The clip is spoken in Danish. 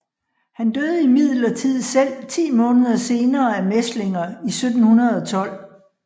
Han døde imidlertid selv ti måneder senere af mæslinger i 1712